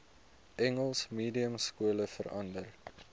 engels mediumskole verander